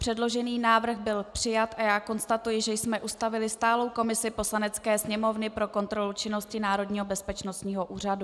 Předložený návrh byl přijat a já konstatuji, že jsme ustavili stálou komisi Poslanecké sněmovny pro kontrolu činnosti Národního bezpečnostního úřadu.